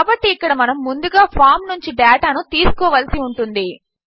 కాబట్టి ఇకక్డ మనము ముందుగా ఫామ్ నుంచి డేటా ను తీసుకోవలసి ఉంటుంది